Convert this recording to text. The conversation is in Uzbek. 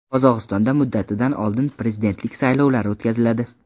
Qozog‘istonda muddatidan oldin prezidentlik saylovlari o‘tkaziladi .